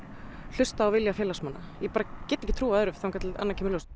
hlustað á vilja félagsmanna ég bara get ekki trúað öðru þangað til annað kemur í ljós